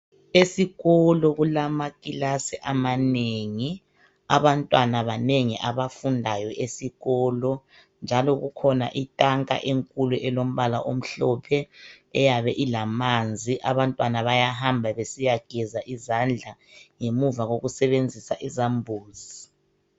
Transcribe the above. Esikolo kulamakilasi amanengi. Abantwana banengi abafundayo esikolo njalo kukhona intanka enkulu elombala omhlophe eyabe ilamanzi. Abantwana bayahamba besiyegeza izadla ngemuva kokusebenzisa ezambuzi.